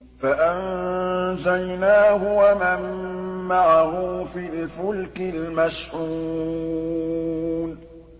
فَأَنجَيْنَاهُ وَمَن مَّعَهُ فِي الْفُلْكِ الْمَشْحُونِ